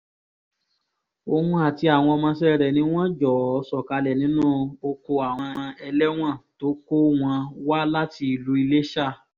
òun àti àwọn ọmọọṣẹ́ rẹ̀ ni wọ́n jọ̀ọ́ sọ̀kalẹ̀ nínú oko àwọn ẹlẹ́wọ̀n tó kó wọn wá láti ìlú iléṣà